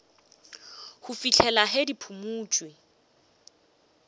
go fihlela ge di phumotšwe